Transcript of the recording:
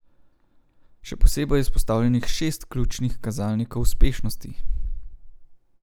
Še posebej je izpostavljenih šest ključnih kazalnikov uspešnosti.